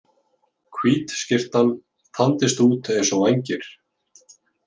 Hvít skyrtan þandist út eins og vængir.